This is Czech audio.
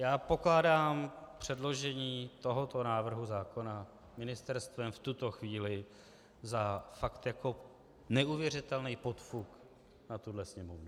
Já pokládám předložení tohoto návrhu zákona ministerstvem v tuto chvíli za fakt jako neuvěřitelný podfuk na tuhle Sněmovnu.